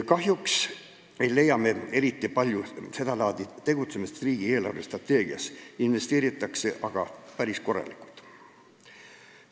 Kahjuks ei leia me eriti palju seda laadi tegutsemise kohta riigi eelarvestrateegias, investeeritakse aga päris korralikult.